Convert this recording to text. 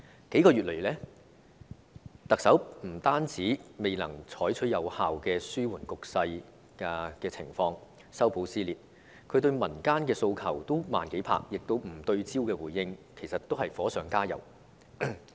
這數個月以來，特首不單未能有效緩和局勢、修補撕裂，她對民間的訴求也是"慢幾拍"，加上不對焦的回應，其實都是火上加油。